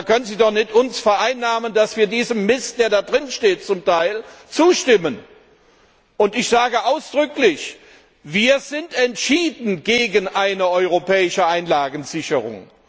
Da können Sie uns doch nicht vereinnahmen, dass wir diesem Mist, der da zum Teil drinsteht, zustimmen. Und ich sage ausdrücklich, wir sind entschieden gegen eine europäische Einlagensicherung.